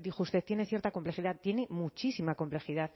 dijo usted tiene cierta complejidad tiene muchísima complejidad